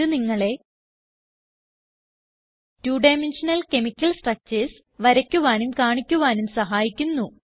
ഇത് നിങ്ങളെ two dimensional chemical structures വരയ്ക്കുവാനും കാണിക്കുവാനും സഹായിക്കുന്നു